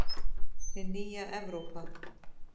Hin nýja Evrópa!